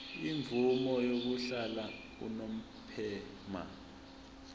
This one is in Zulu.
imvume yokuhlala unomphema